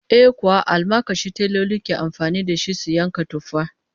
Eh kuwa, almakashi teloli ke amfani da shi su yanka tufa